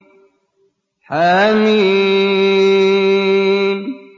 حم